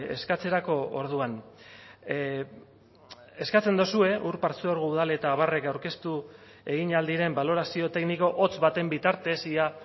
eskatzerako orduan eskatzen dozue ur partzuergo udal eta abarrek aurkeztu egin ahal diren balorazio tekniko hotz baten bitartez ia